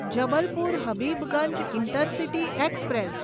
Jabalpur Habibganj intercity express